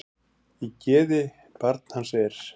Í geði barn hans er.